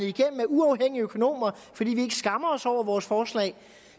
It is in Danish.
igennem af uafhængige økonomer fordi vi ikke skammer os over vores forslag